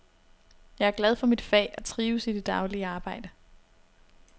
Jeg er glad for mit fag og trives i det daglige arbejde.